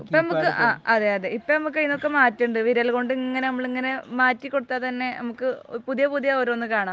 ഇപ്പോ നമുക്ക് ഇതിൽനിന്നൊക്കെ മാറ്റമുണ്ട്. വിരൽ കൊണ്ട് ഇങ്ങനെ നമ്മളിങ്ങനെ മാറ്റി കൊടുത്താൽ തന്നെ നമുക്ക് പുതിയ പുതിയ ഓരോന്ന് കാണാം.